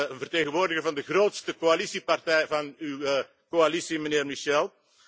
een vertegenwoordiger van de grootste coalitiepartij van uw coalitie, mijnheer Michel.